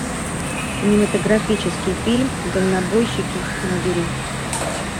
кинематографический фильм дальнобойщики набери